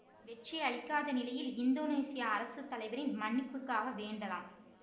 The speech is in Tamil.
வெற்றியளிக்காத நிலையில் இந்தோனேசிய அரசு தலைவரின் மன்னிப்புக்காக வேண்டலாம்